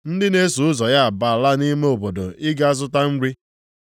(Ndị na-eso ụzọ ya abaala nʼime obodo ịga zụta nri.)